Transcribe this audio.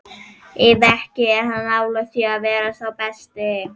Ef ekki, er hann nálægt því að vera sá besti?